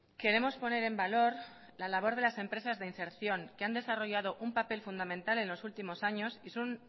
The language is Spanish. queremos poner en valor la labor de las empresas de inserción que han desarrollado un papel fundamental en los últimos años y son